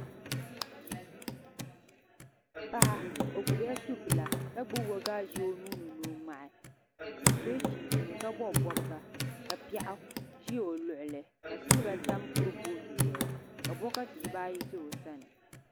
Paɣa o gbubila subila ka gbubi waagashe o nuuni ni o ŋmaai o sola chinchini ka bob bobga ka piɛɣu ʒi o luɣuli ka silba tam kurifooti zuɣu ka bokati dibaa ʒɛ o sani